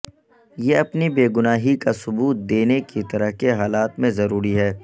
یہ اپنی بے گناہی کا ثبوت دینے کی طرح کے حالات میں ضروری ہے